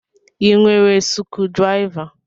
I nwere sukudiriva?